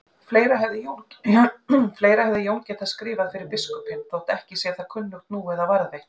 Fleira hefði Jón getað skrifað fyrir biskupinn, þótt ekki sé það kunnugt nú eða varðveitt.